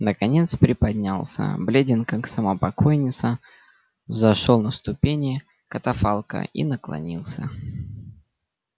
наконец приподнялся бледен как сама покойница взошёл на ступени катафалка и наклонился